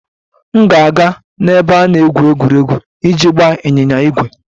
M ga-aga n'ebe a na-egwu egwuregwu iji gbaa ịnyịnya ígwè.